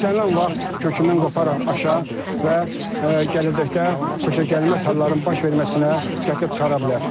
İstənilən vaxt kökündən qoparaq aşa və gələcəkdə xoşagəlməz halların baş verməsinə gətirib çıxara bilər.